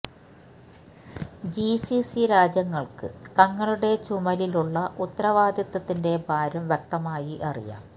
G C C രാജ്യങ്ങള്ക്ക് തങ്ങളുടെ ചുമലിലുള്ള ഉത്തരവാദിത്വത്തിന്റെ ഭാരം വ്യക്തമായി അറിയാം